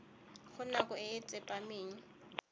go nako e e tsepameng